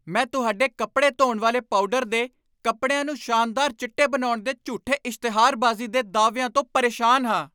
ਮੈਂ ਤੁਹਾਡੇ ਕੱਪੜੇ ਧੋਣ ਵਾਲੇ ਪਾਊਡਰ ਦੇ ਕਪੜਿਆਂ ਨੂੰ ਸ਼ਾਨਦਾਰ ਚਿੱਟੇ ਬਣਾਉਣ ਦੇ ਝੂਠੇ ਇਸ਼ਤਿਹਾਰਬਾਜ਼ੀ ਦੇ ਦਾਅਵਿਆਂ ਤੋਂ ਪਰੇਸ਼ਾਨ ਹਾਂ।